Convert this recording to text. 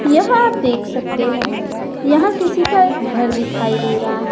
यह आप देख सकते हैं यहां किसी का एक घर दिखाई दे रहा है।